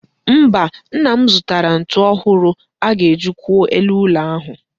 Mba, nna m zụtara ntu ọhụrụ a ga-eji kwụọ elu ụlọ ahụ.